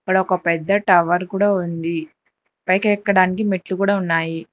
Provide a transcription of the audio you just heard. ఇక్కడ ఒక పెద్ద టవర్ కూడా ఉంది పైకి ఎక్కడానికి మెట్లు కూడా ఉన్నాయి.